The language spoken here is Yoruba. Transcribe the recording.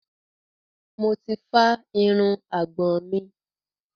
Mo ti fá irun àgbọ̀n mi.